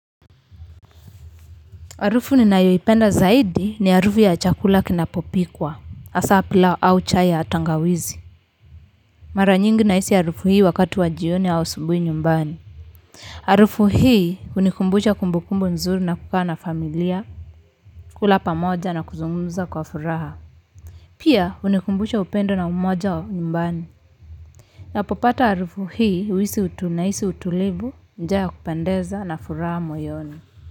Harufu ninayoipenda zaidi ni harufu ya chakula kinapopikwa, hasa pilau au chai ya tangawizi. Mara nyingi nahisi harufu hii wakati wa jioni au asubuhi nyumbani harufu hii hunikumbusha kumbukumbu nzuri za kukaa na familia. Kula pamoja na kuzungumza kwa furaha. Pia kunanikumbusha upendo na umoja wa nyumbani. Ninapopata harufu hii, nahisi utulivu, njaa ya kupendeza na furaha moyoni.